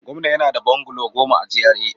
Gwamnan yana da bungalow goma a GRA